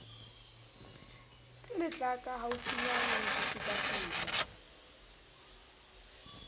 ke letlaka haufinyane ho fetafeta